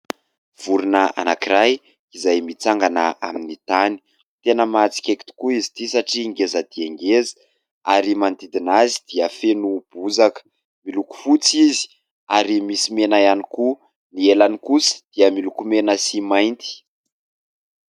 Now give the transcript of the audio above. Vorona anankiray izay mitsangana amin'ny tany. Tena mahatsikaiky tokoa izy ity satria ngeza dia ngeza ary manodidina azy dia feno bozaka. Miloko fotsy izy ary misy mena ihany koa. Ny elany kosa dia miloko mena sy mainty.